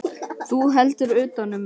Þú heldur utan um mig.